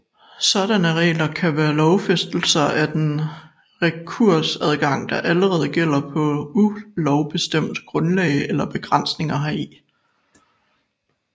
Sådanne regler kan være lovfæstelser af den rekursadgang der allerede gælder på ulovbestemt grundlag eller begrænsninger heri